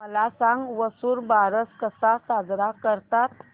मला सांग वसुबारस कसा साजरा करतात